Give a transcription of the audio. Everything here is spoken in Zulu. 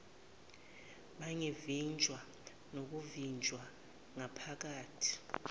bangavinjwa nokuvinjwa bangakhiphi